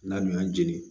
N'an y'an jeni